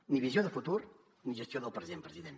ni visió de futur ni gestió del present president